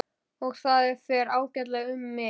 Og það fer ágætlega um mig.